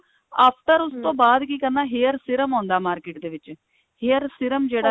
after ਉਸ ਤੋਂ ਬਾਅਦ ਕੀ ਕਰਨਾ hair serum ਆਉਂਦਾ market ਦੇ ਵਿੱਚ hair serum ਜਿਹੜਾ ਹੈ